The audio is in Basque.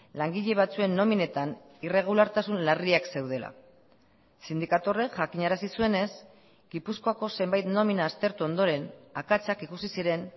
langile batzuen nominetan irregulartasun larriak zeudela sindikatu horrek jakinarazi zuenez gipuzkoako zenbait nomina aztertu ondoren akatsak ikusi ziren